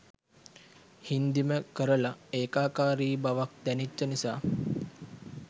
හින්දිම කරලා ඒකාකාරී බවක් දැනිච්ච නිසා